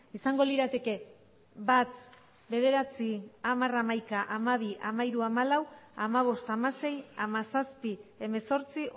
izango lirateke bat bederatzi hamar hamaika hamabi hamairu hamalau hamabost hamasei hamazazpi hemezortzi